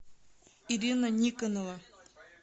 ирина никонова